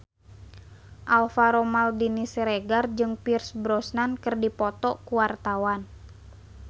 Alvaro Maldini Siregar jeung Pierce Brosnan keur dipoto ku wartawan